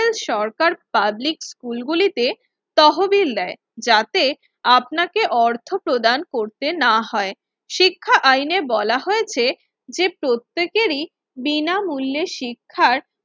ল সরকার পাবলিক স্কুলগুলিতে তহবিল দেয়, যাতে আপনাকে অর্থ প্রদান করতে না হয়। শিক্ষা আইনে বলা হয়েছে যে প্রত্যেকেরই বিনামূল্যে শিক্ষার